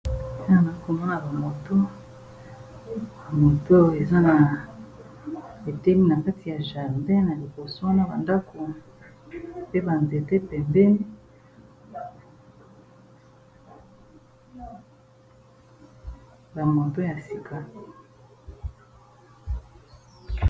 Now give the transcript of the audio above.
ana komona bamoto yamoto eza na etemi na kati ya jarba na liboso wana bandako pe banzete pebeni bamoto ya sika